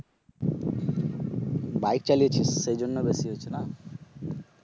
Bike চালিয়েছিস সেই জন্য বেশি হয়েছে না?